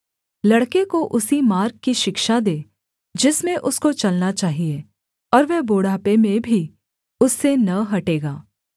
लड़के को उसी मार्ग की शिक्षा दे जिसमें उसको चलना चाहिये और वह बुढ़ापे में भी उससे न हटेगा